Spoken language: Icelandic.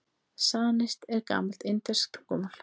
Sanskrít er gamalt indverskt tungumál.